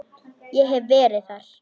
Ég hef verið þar.